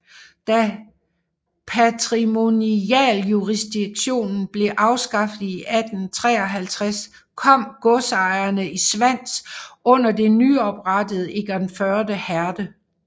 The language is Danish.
Da patrimonialjurisdiktionen blev afskaffet i 1853 kom godserne i Svans under det nyoprettede Egernførde Herred